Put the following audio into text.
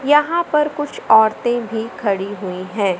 यहाँ पर कुछ औरतें भी खड़ी हुई हैं।